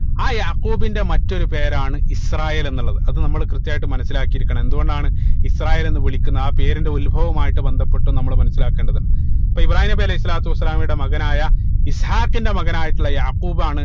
ആ യാഖൂബിന്റെ മറ്റൊരു പേരാണ് ഇസ്രായേൽ എന്നുള്ളത് അത് നമ്മള് കൃത്യായിട്ട് മനസിലാക്കിയിരിക്കണം എന്തുകൊണ്ടാണ് ഇസ്രായേൽ എന്ന് വിളിക്കുന്നത് ആ പേരിന്റെ ഉത്ഭവമുമായിട്ട് ബന്ധപ്പെട്ട് നമ്മള് മനസിലാക്കേണ്ടത് ഉണ്ട് അപ്പൊ ഇബ്രാഹീം നബി അലൈഹി സ്വലാത്തു വസ്സലാമയുടെ മകനായ ഇസ്ഹാഖിന്റെ മകനായിട്ടുള്ള യാഖൂബ് ആണ്